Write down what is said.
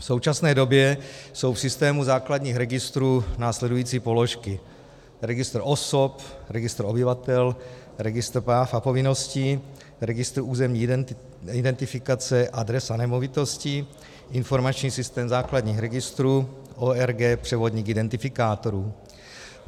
V současné době jsou v systému základních registrů následující položky: registr osob, registr obyvatel, registr práv a povinností, registr územní identifikace, adres a nemovitostí, informační systém základních registrů, ORG převodník identifikátorů.